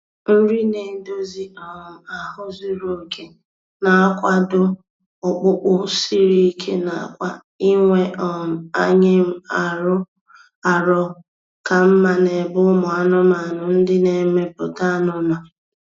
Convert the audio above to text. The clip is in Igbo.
Nri na-edozi um ahụ zuru oke na-akwado ọkpụkpụ siri ike na kwa inwe um anyịm arọ ka mma n’ebe ụmụ anụmanụ ndị na-emepụta anụ nọ.